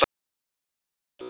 Þetta er bara til góðs.